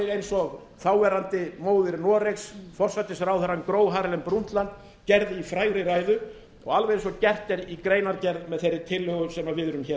eins og þáverandi móðir noregs forsætisráðherrann gro harlem brundtland gerði í frægri ræðu og alveg eins og gert er í greinargerð með þeirri tillögu sem við erum